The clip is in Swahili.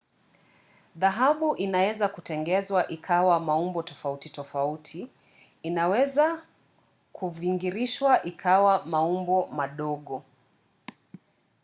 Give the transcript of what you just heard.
dhahabu inaweza kutengenezwa ikawa maumbo tofauti tofauti. inaweza kuvingirishwa ikawa maumbo madogo